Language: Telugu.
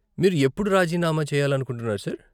మీరు ఎప్పుడు రాజీనామా చేయాలనుకుంటున్నారు, సార్?